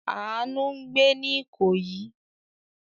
Àánú ń gbé ní Ìkòyí.